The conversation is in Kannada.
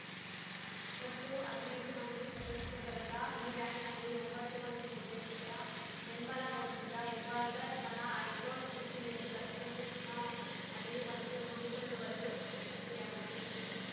ಒಟ್ಟು ಹದಿನೈದು ಮಂದಿ ಸದಸ್ಯ ಬಲದ ಈ ಬ್ಯಾಂಕ್‌ನಲ್ಲಿ ಒಂಬತ್ತು ಮಂದಿ ನಿರ್ದೇಶಕರ ಬೆಂಬಲ ಹೊಂದಿದ್ದ ಹೆಬ್ಬಾಳ್ಕರ್ ಬಣ ಹೈಕೋರ್ಟ್‌ ಮೆಟ್ಟಿಲೇರಿ ತಕ್ಷಣವೇ ಚುನಾವಣೆ ನಡೆಯುವಂತೆ ನೋಡಿಕೊಳ್ಳುವಲ್ಲೂ ಯಶಸ್ವಿಯಾಗಿತ್ತು